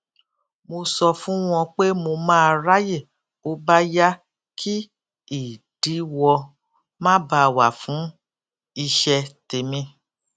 mo sọ fún wọn pé mo máa ráyè bó bá yá kí ìdíwọ má ba à wà fún iṣẹ tèmi